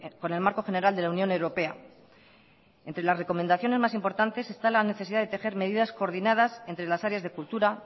con el marco general de la unión europea entre las recomendaciones más importantes está la necesidad de tejer medidas coordinas entre las áreas de cultura